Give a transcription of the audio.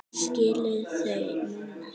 Skilur þau núna.